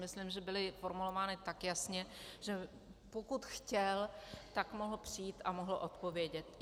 Myslím, že byly formulovány tak jasně, že pokud chtěl, tak mohl přijít a mohl odpovědět.